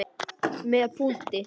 Með punkti.